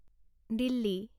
Delhi